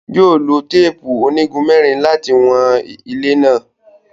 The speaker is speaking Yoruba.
Yóò lo teepu onigun mẹrin lati wọn ile náà